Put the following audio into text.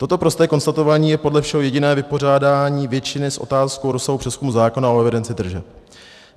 Toto prosté konstatování je podle všeho jediné vypořádání většiny s otázkou rozsahu přezkumu zákona o evidenci tržeb.